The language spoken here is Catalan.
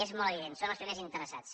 és molt evident són els primers interessats